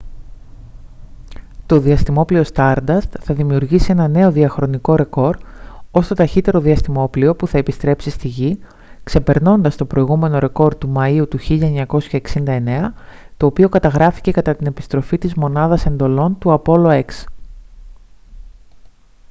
το διαστημόπλοιο stardust θα δημιουργήσει ένα νέο διαχρονικό ρεκόρ ως το ταχύτερο διαστημόπλοιο που θα επιστρέψει στη γη ξεπερνώντας το προηγούμενο ρεκόρ του μαΐου του 1969 το οποίο καταγράφηκε κατά την επιστροφή της μονάδας εντολών του apollo x